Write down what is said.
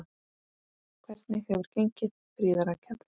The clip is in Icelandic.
Hvernig hefur gengið, Fríða Rakel?